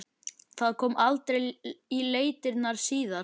Það kom aldrei í leitirnar síðar.